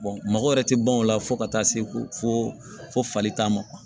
mɔgɔ wɛrɛ tɛ ban o la fo ka taa se ko fo fali ta ma